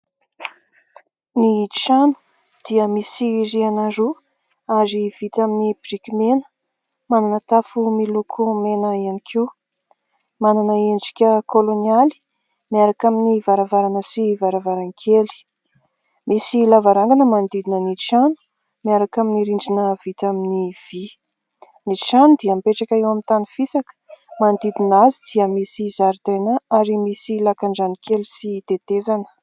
Ny trano dia misy rihana roa ary vita amin'ny biriky mena. Manana tafo miloko mena ihany koa, manana endrika kolonialy miaraka amin'ny varavarana sy varavaran-kely. Misy lavarangana manodidina ny trano miaraka amin'ny rindrina vita amin'ny vy; ny trano dia mipetraka eo amin'ny tany fisaka manodidina azy dia misy zaridaina ary misy lakan-drano kely sy tetezana.